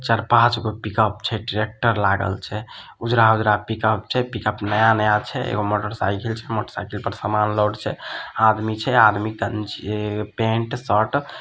चार-पांच गो पिकअप छै ट्रेक्टर लागल छै उजरा-उजरा पिकअप छै पिकअप नया-नया छै एगो मोटरसाइकिल छै मोटरसाइकिल पर सामान लोड छै आदमी छै आदमी ये पेंट शर्ट --